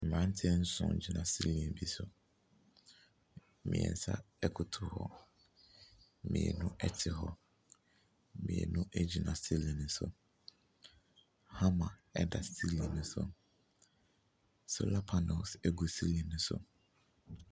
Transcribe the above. Mmranteɛ nson gyina siilin bi so. Mmiɛnsa ɛkotow hɔ. Mmienu ɛte hɔ. Mmienu egyina siilin no so. Hama ɛda siilin no so. Sola panils egu siilin no so.